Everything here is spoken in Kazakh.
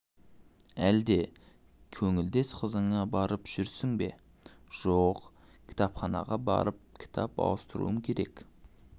әлде көңілдес қызыңа барып жүрсің бе жоқ кітапханаға барып кітап ауыстыруым керек